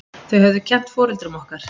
Þau höfðu kennt foreldrum okkar.